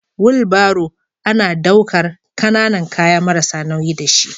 Wulbaro ana daukar kananan kaya marasa nauyi da shi.